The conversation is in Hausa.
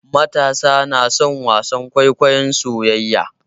Matasa na son wasan kwaikwayon soyayya.